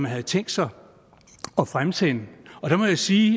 har tænkt sig at fremsende og der må jeg sige